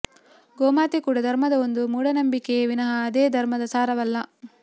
ಗೋಮಾತೆ ಕೂಡ ಧರ್ಮದ ಒಂದು ಮೂಢನಂಬಿಕೆಯೇ ವಿನಃ ಅದೇ ಧರ್ಮದ ಸಾರವಲ್ಲ